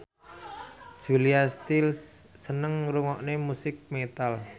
Julia Stiles seneng ngrungokne musik metal